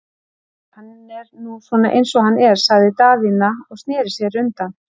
Æi, hann er nú svona eins og hann er, sagði Daðína og sneri sér undan.